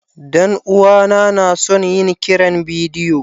Dan uwana na son yin kiran bidiyo.